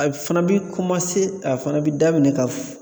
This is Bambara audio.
A fana bi a fana bi daminɛ ka f